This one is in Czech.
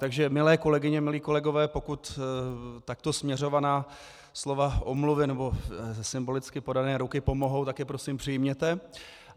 Takže milé kolegyně, milí kolegové, pokud takto směřovaná slova omluvy nebo symbolicky podané ruky pomohou, tak je prosím přijměte.